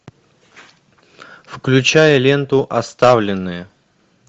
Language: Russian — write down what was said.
включай ленту оставленные